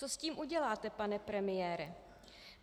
Co s tím uděláte, pane premiére?